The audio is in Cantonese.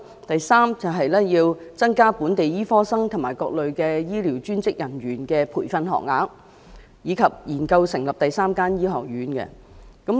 第三，增加本地醫科生及各類專職醫療人員的培訓學額，以及研究成立第三間醫學院。